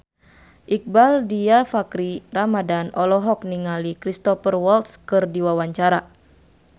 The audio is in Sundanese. Iqbaal Dhiafakhri Ramadhan olohok ningali Cristhoper Waltz keur diwawancara